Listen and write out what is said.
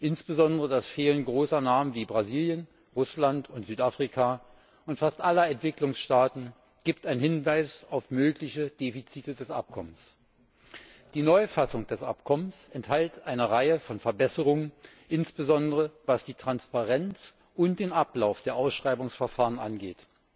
Insbesondere das Fehlen großer Namen wie Brasilien, Russland und Südafrika und fast aller Entwicklungsstaaten gibt einen Hinweis auf mögliche Defizite des Abkommens. Die Neufassung des Abkommens enthält eine Reihe von Verbesserungen, insbesondere was die Transparenz und den Ablauf der Ausschreibungsverfahren angeht.